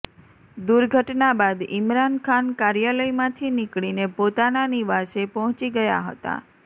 દુર્ઘટના બાદ ઈમરાન ખાન કાર્યાલયમાંથી નીકળીને પોતાના નિવાસે પહોંચી ગયા હતા